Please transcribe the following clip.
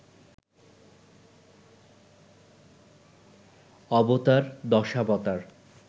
অবতার দশাবতার